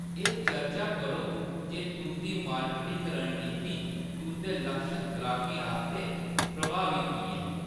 एह्‌‌ चर्चा करो जे तुंʼदी मार्केटिंग रणनीति तुंʼदे लक्षत गाह्‌‌कें आस्तै प्रभावी की ऐ।